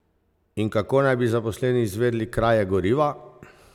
In kako naj bi zaposleni izvedli kraje goriva?